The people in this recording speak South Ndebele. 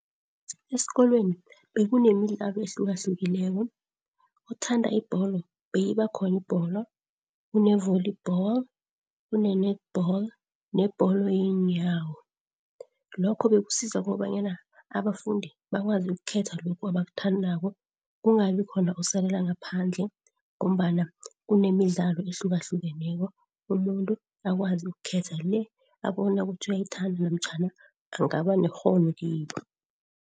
Esikolweni bekunemidlalo ehlukahlukileko. Othanda ibholo beyibakhona ibholo. Kune-volleyball, kune-Netball nebholo yenyawo. Lokho bekusiza kobanyana abafundi bakwazi ukukhetha lokhu abakuthandako. Kungabikhona osalela ngaphandle ngombana kunemidlalo ehlukahlukeneko. Umuntu akwazi ukukhetha le abona kuthi uyayithanda namtjhana angaba nekghono kibo.